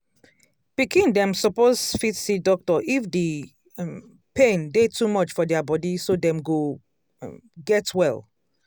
pikin dem suppose fit see doctor if the um pain dey too much for dia body so dem go um get well